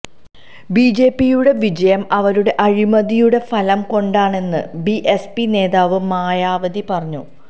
ബിജെപിയുടെ വിജയം അവരുടെ അഴിമതിയുടെ ഫലം കൊണ്ടാണെന്ന് ബിഎസ്പി നേതാവ് മായാവതി പറഞ്ഞു